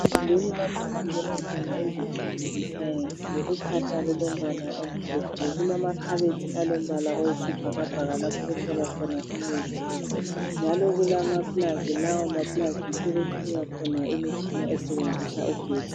Egumbini lapho okufundelwa khona izifundo ze science uphahla lulombala omhlophe kulamakhabothi alombala oyisibhakabhaka lapho okuhlala khona imithi njalo kulama plug lawo ma plug yikho okuxhunywa khona imitshina esebenzisa ugetsi.